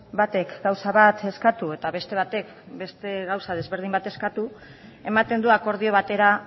batek gauza bat eskatu eta beste batek beste gauza desberdin bat eskatu ematen du akordio batera